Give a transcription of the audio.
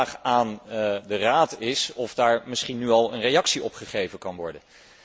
Mijn vraag aan de Raad is of daar misschien nu al een reactie op gegeven kan worden.